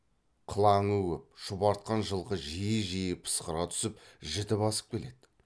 қылаңы көп шұбартқан жылқы жиі жиі пысқыра түсіп жіті басып келеді